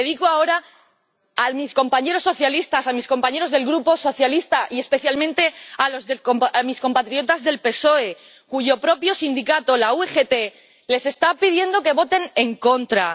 Y me dirijo ahora a mis compañeros socialistas, a mis compañeros del grupo socialista, y especialmente a mis compatriotas del PSOE, cuyo propio sindicato, la UGT, les está pidiendo que voten en contra.